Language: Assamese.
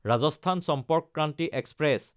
ৰাজস্থান চম্পৰ্ক ক্ৰান্তি এক্সপ্ৰেছ